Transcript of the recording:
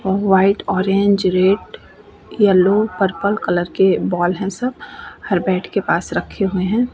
और white orange red yellow purple colour के ball हैं सब। हर बैट के साथ रखे हैं।